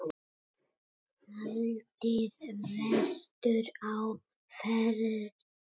Haldið vestur á Firði